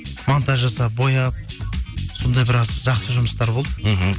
монтаж жасап бояп сондай біраз жақсы жұмыстар болды мхм